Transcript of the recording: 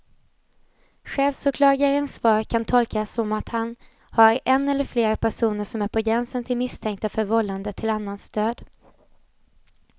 Chefsåklagarens svar kan tolkas som att han har en eller flera personer som är på gränsen till misstänkta för vållande till annans död.